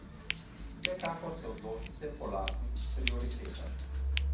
Vsekakor se odločite po lastnih prioritetah!